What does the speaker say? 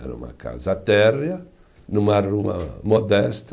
Era uma casa térrea, numa rua modesta,